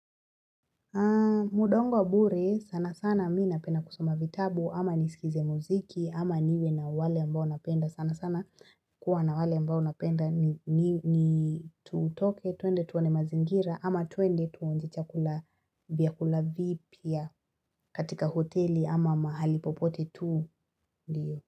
Muda wangu wa bure sana sana mi napenda kusoma vitabu ama nisikize muziki ama niwe na wale ambao napenda sana sana kuwa na wale ambao napenda ni tutoke tuende tuoane mazingira ama tuende tuonje chakula vyakula vipya katika hoteli ama mahali popote tuu ndio.